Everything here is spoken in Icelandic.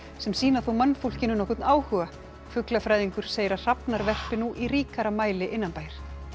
sem sýna þó mannfólkinu nokkurn áhuga fuglafræðingur segir að hrafnar verpi í ríkara mæli innanbæjar